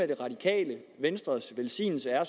det radikale venstres velsignelse er